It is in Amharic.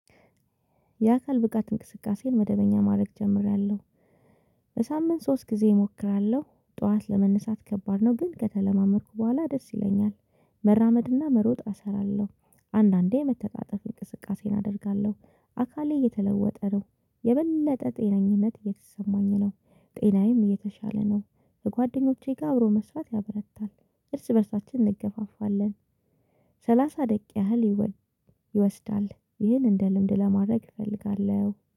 የአካል ብቃት እንቅስቃሴን መደበኛ ማድረግ ጀምሬያለሁ። በሳምንት ሶስት ጊዜ እሞክራለሁ ጠዋት ለመነሳት ከባድ ነው ግን ከተለማመድኩ በኋላ ደስ ይለኛል። መራመድና መሮጥ እሰራለሁ አንዳንዴ የመተጣጠፍ እንቅስቃሴ አደርጋለሁ። አካሌ እየተለወጠ ነው የበለጠ ጤናኝነት እየተሰማኝ ነው፣ ጤናዬም እየተሻለ ነው፣ ከጓደኞቼ ጋር አብሮ መስራት ያበረታል እርስ በእርሳችን እንገፋፋለን፣ ሰላሳ ደቂቃ ያህል ይወስዳል ይህን እንደ ልምድ ለማድረግ እፈልጋለሁ።